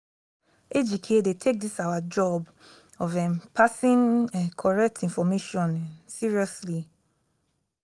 ejike dey take dis our job of um passing um correct information um seriously